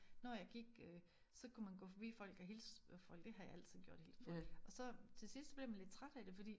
Når jeg gik øh så kunne man gå forbi folk og hilse på folk det har jeg altid gjort hilst på folk og så til sidst bliver man lidt træt af det fordi